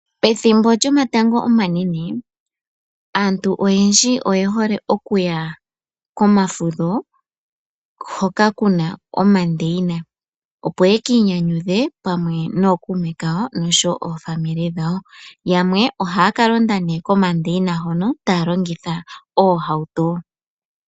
Ethimbo lyomatango omanene aantu oyendji oye hole okuya komafudho hoka kuna omandeyina, opo ye kiinyanyudhe pamwe nookuume kawo oshowo aakwanezimo yawo. Yamwe ohaya ka londa nee komandeyina hono taya longitha oohauto.